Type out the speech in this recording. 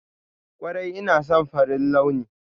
Kwarai ina son farin launi.